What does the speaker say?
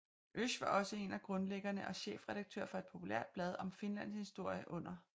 Oesch var også en af grundlæggerne og chefredaktør for et populært blad om Finlands historie under 2